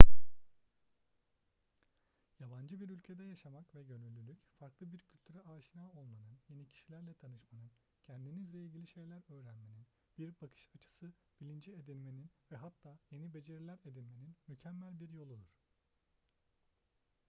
yabancı bir ülkede yaşamak ve gönüllülük farklı bir kültüre aşina olmanın yeni kişilerle tanışmanın kendinizle ilgili şeyler öğrenmenin bir bakış açısı bilinci edinmenin ve hatta yeni beceriler edinmenin mükemmel bir yoludur